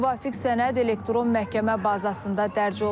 Müvafiq sənəd elektron məhkəmə bazasında dərc olunub.